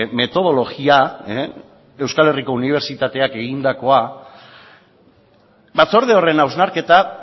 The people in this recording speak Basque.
metodologia euskal herriko unibertsitateak egindakoa batzorde horren hausnarketa